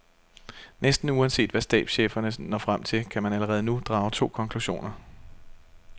Næsten uanset hvad stabscheferne når frem til, kan man allerede nu drage to konklusioner.